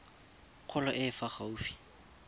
kgolo e e fa gaufi